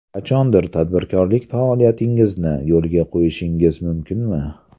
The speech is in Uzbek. Qachondir tadbirkorlik faoliyatingizni yo‘lga qo‘yishingiz mumkinmi?